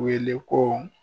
Wele ko